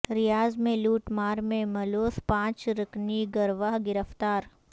ریاض میں لوٹ مار میں ملوث پانچ رکنی گروہ گرفتار